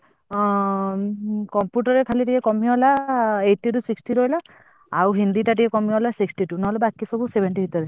ଆଁ computer ରେ ଖାଲି ଟିକେ କମିଗଲା eighty ରୁ sixty ରହିଲା ଆଉ ହିନ୍ଦୀଟା ଟିକେ କମିଗଲା sixty two ନହେଲେ ବାକି ସବୁ seventy ଭିତରେ।